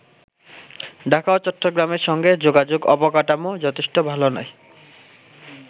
ঢাকা ও চট্টগ্রামের সঙ্গে যোগাযোগ অবকাঠামো যথেষ্ট ভালো নয়।